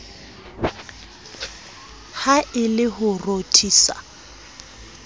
ha e le ho rothisa